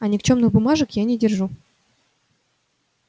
а никчёмных бумажек я не держу